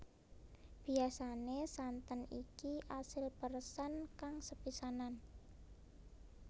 Biyasane santen iki asil peresan kang sepisanan